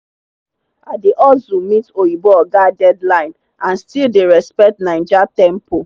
i dey hustle meet oyinbo oga deadline and still dey respect naija tempo